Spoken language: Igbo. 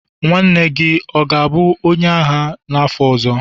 nwanne gị ọ ga-abụ onye agha n'afọ ọzọ?